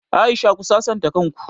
Aisha ku sasanta kan ku!